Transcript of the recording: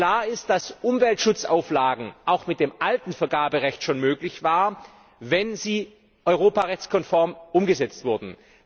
Klar ist, dass Umweltschutzauflagen auch mit dem alten Vergaberecht schon möglich waren, wenn sie europarechtskonform umgesetzt wurden.